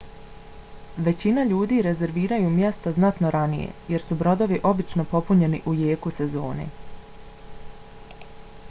većina ljudi rezerviraju mjesto znatno ranije jer su brodovi obično popunjeni u jeku sezone